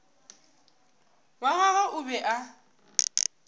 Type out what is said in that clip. wa gagwe o be a